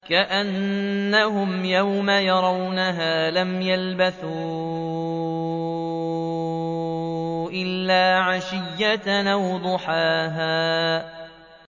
كَأَنَّهُمْ يَوْمَ يَرَوْنَهَا لَمْ يَلْبَثُوا إِلَّا عَشِيَّةً أَوْ ضُحَاهَا